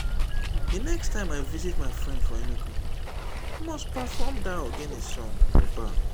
the next time i visit my friend for enugu i must perform that ogene song for bar